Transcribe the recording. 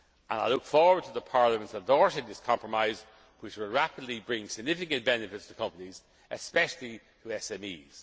proposal. I look forward to Parliament endorsing this compromise, which will rapidly bring significant benefits to companies, especially